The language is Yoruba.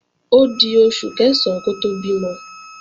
Ódi oṣù Kẹ̀sán kó tó bímọ